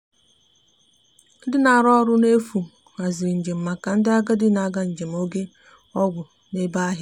ndi na arụ ọrụ na efu haziri njem maka ndi agadi na aga njem oge ọgwụ na ebe ahia